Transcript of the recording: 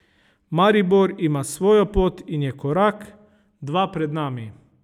Maribor ima svojo pot in je korak, dva pred nami.